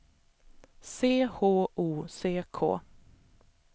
C H O C K